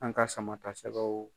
An ka Sama ta sɛgɛw